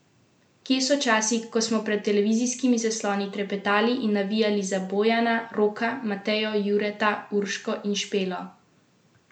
Kje so časi, ko smo pred televizijskimi zasloni trepetali in navijali za Bojana, Roka, Matejo, Jureta, Urško in Špelo?